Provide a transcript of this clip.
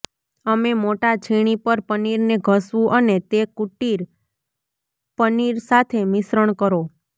અમે મોટા છીણી પર પનીરને ઘસવું અને તે કુટીર પનીર સાથે મિશ્રણ કરો